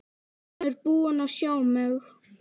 Hann er búinn að sjá mig!